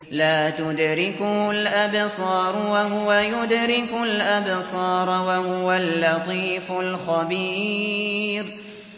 لَّا تُدْرِكُهُ الْأَبْصَارُ وَهُوَ يُدْرِكُ الْأَبْصَارَ ۖ وَهُوَ اللَّطِيفُ الْخَبِيرُ